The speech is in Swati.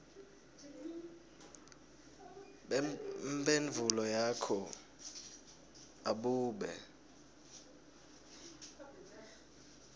bemphendvulo yakho abube